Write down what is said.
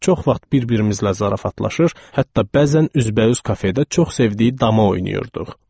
Çox vaxt bir-birimizlə zarafatlaşır, hətta bəzən üzbəüz kafedə çox sevdiyi dama oynayırdıq.